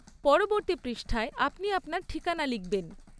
পরবর্তী পৃষ্ঠায় আপনি আপনার ঠিকানা লিখবেন।